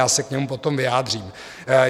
Já se k němu potom vyjádřím.